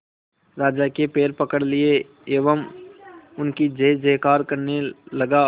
राजा के पैर पकड़ लिए एवं उनकी जय जयकार करने लगा